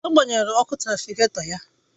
Agbanyere ọkụ trafịgatọ ya